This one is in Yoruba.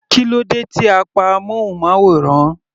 Kílódé tí a pa amúnmáwòrán.